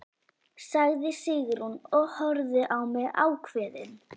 sagði Sigrún og horfði á mig ákveðin.